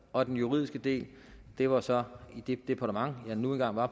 og den juridiske del det var så i det departement jeg nu engang var